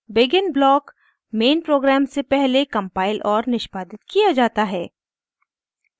begin block main program से पहले compile और निष्पादित किया जाता है